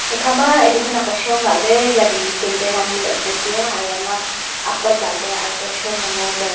ekha ma edu khanyak shomla ley jali canden anyla asat taiya ayama apatla ley aito shomla ngoley.